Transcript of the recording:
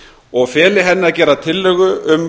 og feli henni að gera tillögu um